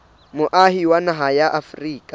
moahi wa naha ya afrika